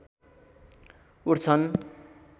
उठ्छन्